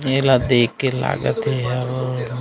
ए ला देख के लागत हे ये ह--